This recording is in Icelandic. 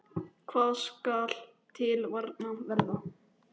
Hvað skal til varnar verða?